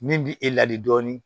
Min bi e ladi dɔɔnin